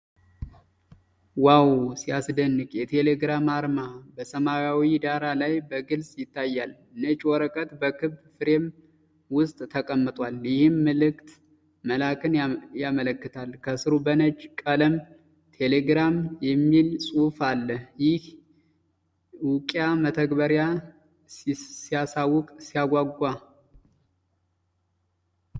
ዋው ሲያስደንቅ! የቴሌግራም አርማ በሰማያዊ ዳራ ላይ በግልጽ ይታያል። ነጭ ወረቀት በክብ ፍሬም ውስጥ ተቀምጧል፣ ይህም መልዕክት መላክን ያመለክታል። ከሥሩ በነጭ ቀለም ቴሌግራም የሚል ጽሑፍ አለ። ይህ የእውቂያ መተግበሪያ ሲያሳውቅ! ሲያጓጓ!